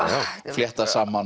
fléttað saman